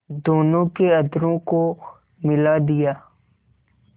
दोनों के अधरों को मिला दिया